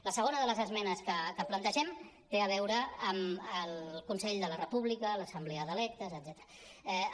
la segona de les esmenes que plantegem té a veure amb el consell de la república l’assemblea d’electes etcètera